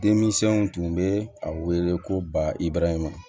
Denmisɛnw tun bɛ a wele ko ba ibɛrɛ ma